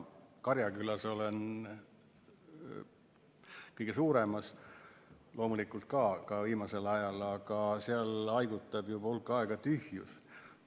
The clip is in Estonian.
Karjakülas, kõige suuremas, olen loomulikult ka viimasel ajal käinud, aga seal haigutab juba hulk aega tühjus.